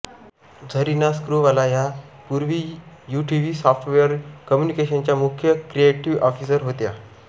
झरिना स्क्रूवाला ह्या पूर्वी UTV software कम्युनिकेशनचा मुख्य क्रिएटिव्ह ऑफिसर होत्या